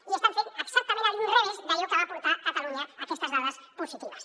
i estan fent exactament a l’inrevés d’allò que va portar catalunya a aquestes dades positives